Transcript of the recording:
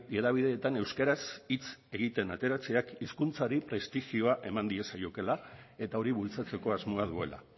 hedabideetan euskaraz hitz egiten ateratzeak hizkuntzari prestigioa eman diezaiokeela eta hori bultzatzeko asmoa duela